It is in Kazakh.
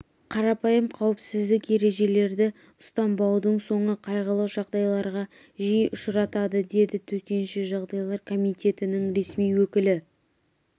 қарпайым қауіпсіздік ережелерді ұстанбаудың соңы қайғылы жағдайларға жиі ұшыратады деді төтенше жағдайлар комитетінің ресми өкілі